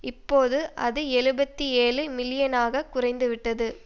இப்போது அது எழுபத்தி ஏழு மில்லியனாக குறைந்து விட்டது